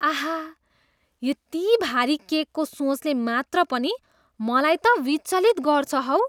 आह, यति भारी केकको सोचले मात्र पनि मलाई त विचलित गर्छ हौ।